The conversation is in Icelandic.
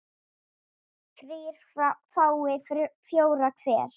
þrír fái fjóra hver